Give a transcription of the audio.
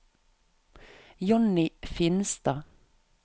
Jonny Finstad